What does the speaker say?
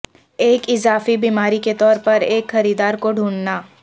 ایک اضافی بیماری کے طور پر ایک خریدار کو ڈھونڈنا